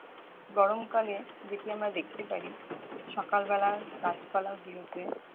গরম কালে যেটি আমরা দেখতে পারি সকাল বেলা গাছপালা গুলোতে